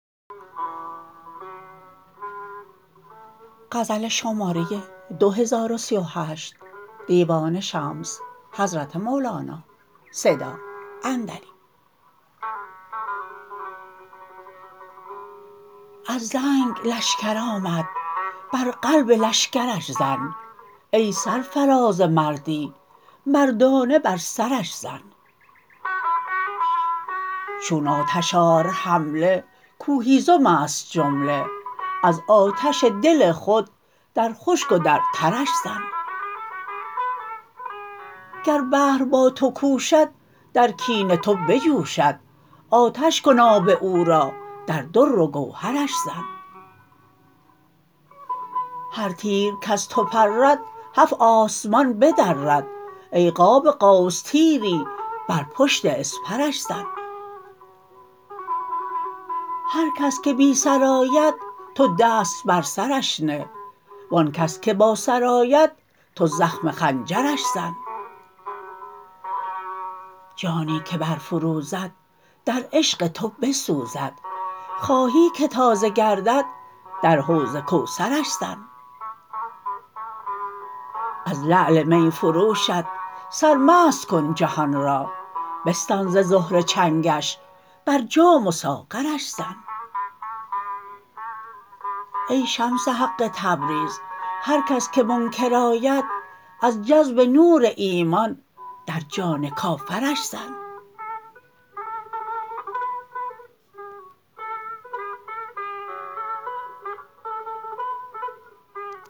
از زنگ لشکر آمد بر قلب لشکرش زن ای سرفراز مردی مردانه بر سرش زن چون آتش آر حمله کو هیزم است جمله از آتش دل خود در خشک و در ترش زن گر بحر با تو کوشد در کین تو بجوشد آتش کن آب او را در در و گوهرش زن هر تیر کز تو پرد هفت آسمان بدرد ای قاب قوس تیری بر پشت اسپرش زن هر کس که بی سر آید تو دست بر سرش نه و آن کس که با سر آید تو زخم خنجرش زن جانی که برفروزد در عشق تو بسوزد خواهی که تازه گردد در حوض کوثرش زن از لعل می فروشت سرمست کن جهان را بستان ز زهره چنگش بر جام و ساغرش زن ای شمس حق تبریز هر کس که منکر آید از جذب نور ایمان در جان کافرش زن